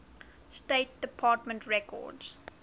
state department records